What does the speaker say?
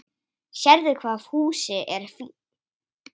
Sérðu hvað Fúsi er fínn?